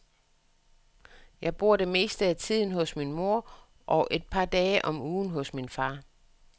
Jeg bor det meste af tiden hos min mor og et par dage om ugen hos min far.